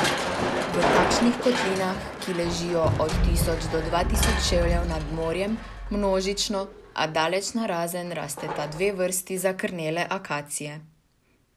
V takšnih kotlinah, ki ležijo od tisoč do dva tisoč čevljev nad morjem, množično, a daleč narazen rasteta dve vrsti zakrnele akacije.